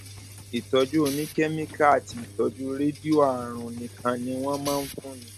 ìtọjú oníkẹmíkà àti ìtọjú rédíò àrùn nìkan ni wọn máa ń fúnni